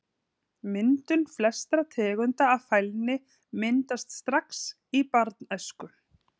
Myndun Flestar tegundir af fælni myndast strax í barnæsku.